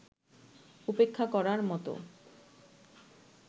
উপেক্ষা করার মতো